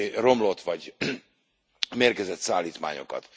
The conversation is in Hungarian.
romlott vagy mérgezett szállítmányokat.